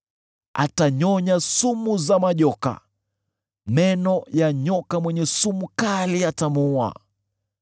Atanyonya sumu za majoka; meno ya nyoka mwenye sumu kali yatamuua.